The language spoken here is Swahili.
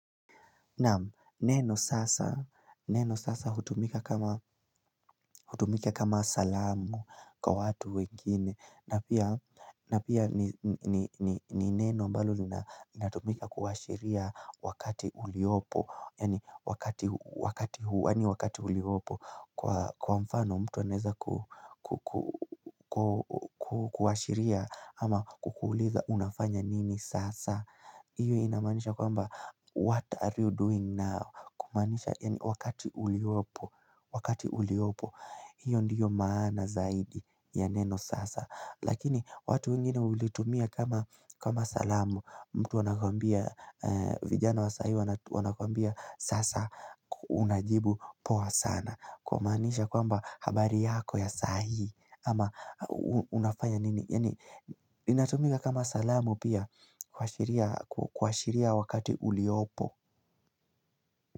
Neno sasa hutumika kama salamu kwa watu wengine na pia ni neno ambalo linatumika kuashiria wakati uliopo Yaani wakati uliopo kwa mfano mtu anaeza kuashiria ama kukuuliza unafanya nini sasa hIyo inamaanisha kwamba, what are you doing now? Kumaanisha, yaani wakati uliopo, wakati uliopo, hiyo ndiyo maana zaidi ya neno sasa. Lakini, watu wengine hulitumia kama salamu, mtu anakuambia, vijana wa sahi wanakwambia sasa unajibu poa sana. Kwa maanisha kwamba, habari yako ya sahi, ama unafanya nini? Inatumika kama salamu pia kuashiria wakati uliopo.